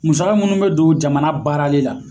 Musaka minnu bɛ don jamana baaralen la